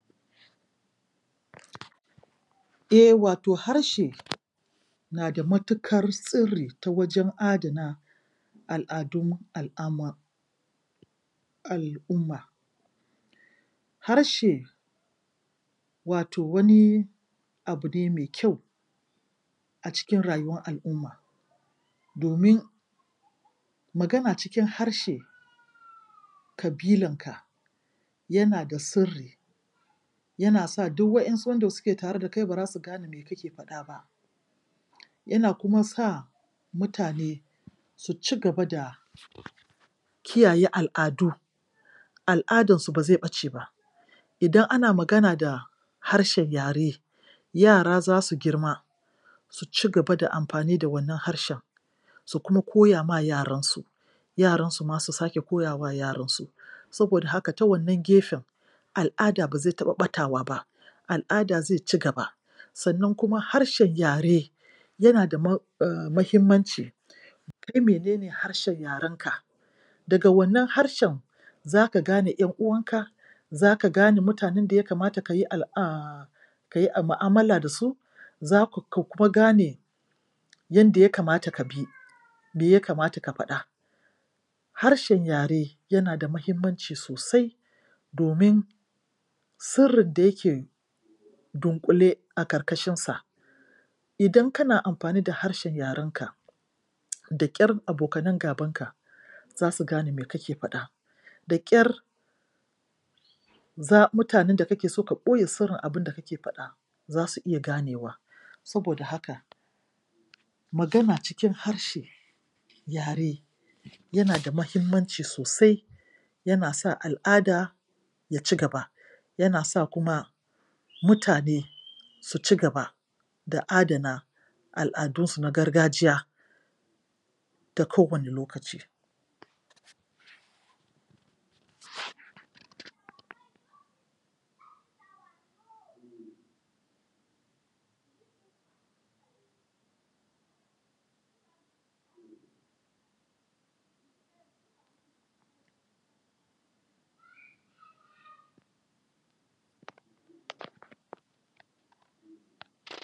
De wato harshe na da matukar sirri ta wajen adana al-adun al-umma al-umma harshe wato wani abu ne mai kyau acikin rayuwar al-umma domin magana cikin harshe kabilanka yana da sirri yana sa duk wayan su wanda suke tare dakai bazasu gane me kake fada ba yana kuma sa mutane su cigaba da kiyaye al-adu al-adansu ba ze bace ba idan ana magana da harshen yare yara zasu girma su cigaba da amfani da wannan harshe su kuma koyama yaran su yaransu ma su kara koya ma yaran su saboda haka ta wannan gefen al-ada ba ze taba batawa ba al-ada ze cigaba sannan kuma harshen yare yana da muhimmanci kai mene ne harshen yaranka daga wannan harshen zaka gane yan uwan ka zaka gane mutanen daya kamata kayi al-a kayi mu'amala da su zaka kuma gane yadda yakamata kabi me yakamata kafada harshen yare yana muhimmanci sosai domin sirrin dayake dunkule a karkashin sa idan kana amfani da harshe yaren ka da kyar abokanan gaban ka zasu gane me kake fada da kyar za mutanen dakake so ka boye sirrin abunda kake fada zasu iya ganewa saboda haka magana cikin harshen yare yana da muhimman ci sosai yanasa al-ada yacigaba yanasa kuma mutane suci gaba da adana al-adunsu na gargajiya ta kowani lokaci um